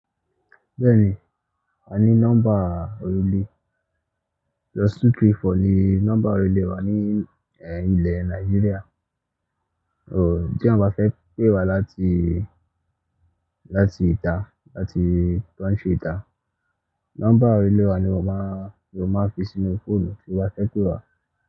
Bẹ́ẹ̀ni, a ní nọ́mbà orílẹ̀. Plus two three four ni nọ́mbà orílẹ̀ wa ni è, ilẹ̀ Nàìjíríà, òun tí àwọn bá fẹ́ pé wá láti, láti ìta, láti country ìta. Nọ́mbà orílẹ̀ wa ni mo má, ni wọ́n máa fi sínú fóònù tí wọ́n fẹ́ pé wá.